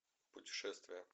путешествие